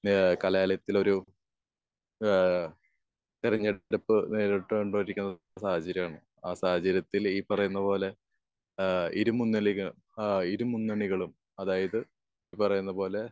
ഏഹ് കലാലയത്തിലൊരു ഏഹ് തെരഞ്ഞെടുപ്പ് നേരിട്ട് കൊണ്ടിരിക്കുന്ന ഒരു സാഹചര്യമാണ്. ആഹ് സാഹചര്യത്തിൽ ഈ പറയുന്ന പോലെ ഏഹ് ഇരുമുന്നണികൾ ഏഹ് ഇരു മുന്നണികളും അതായത് പറയുന്ന പോലെ